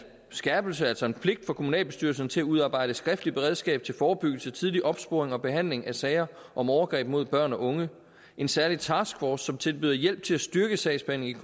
skærpelse altså en pligt for kommunalbestyrelsen til at udarbejde et skriftligt beredskab til forebyggelse tidlig opsporing og behandling af sager om overgreb mod børn og unge en særlig taskforce som tilbyder hjælp til at styrke sagsbehandlingen